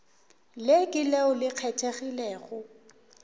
le ke leo le kgethegilego